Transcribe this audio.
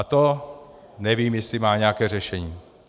A to nevím, jestli má nějaké řešení.